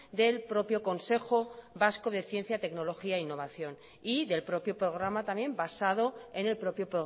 del propio consejo vasco de ciencia tecnología e innovación y del propio programa también basado en el propio